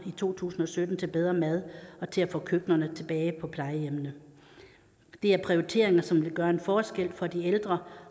i to tusind og sytten til bedre mad og til at få køkkenerne tilbage på plejehjemmene det er prioriteringer som vil gøre en forskel for de ældre